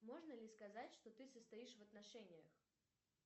можно ли сказать что ты состоишь в отношениях